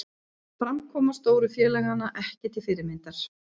Framkoma stóru félaganna ekki til fyrirmyndar